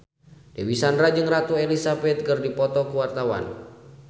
Dewi Sandra jeung Ratu Elizabeth keur dipoto ku wartawan